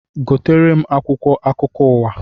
Gotere m akwụkwọ akụkọ ụwa!